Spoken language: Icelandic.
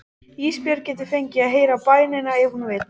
Ísbjörg getur fengið að heyra bænina ef hún vill.